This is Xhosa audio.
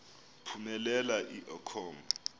phumelela i com